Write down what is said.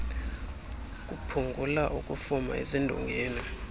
kuphungula ukufuma ezindongeni